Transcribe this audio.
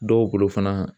Dɔw bolo fana